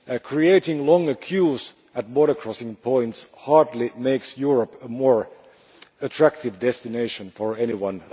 Creating longer queues at border crossing points hardly makes Europe a more attractive destination for anyone.